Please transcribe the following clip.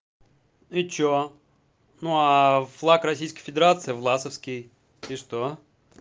и что ну а флаг российской федерации власовский и что